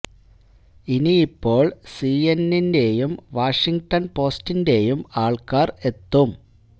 ഇനിയിപ്പോള് C N എന്നിന്റെ യും വാഷിങ്ങ്ടണ് പോസ്റ്റിന്റെയും ആള്ക്കാര് എത്തും